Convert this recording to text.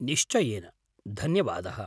निश्चयेन, धन्यवादः।